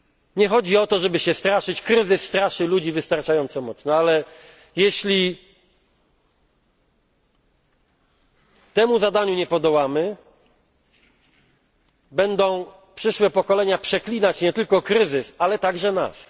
Nie chodzi o to, żeby się wzajemnie straszyć, kryzys straszy ludzi wystarczająco mocno. Ale jeśli temu zadaniu nie podołamy, przyszłe pokolenia będą przeklinać nie tylko kryzys, ale także nas.